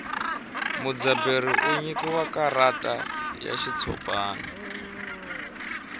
mudzaberi u nyikiwa karata ra xitshopani